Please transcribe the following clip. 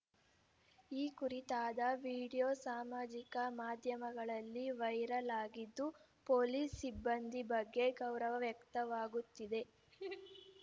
ಈ ಕುರಿತಾದ ವಿಡಿಯೋ ಸಾಮಾಜಿಕ ಮಾಧ್ಯಮಗಳಲ್ಲಿ ವೈರಲ್‌ ಆಗಿದ್ದು ಪೊಲೀಸ್‌ ಸಿಬ್ಬಂದಿ ಬಗ್ಗೆ ಗೌರವ ವ್ಯಕ್ತವಾಗುತ್ತಿದೆ